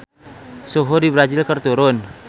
Suhu di Brazil keur turun